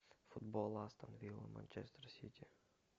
футбол астон вилла манчестер сити